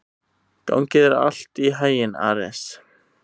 Gangi þér allt í haginn, Ares.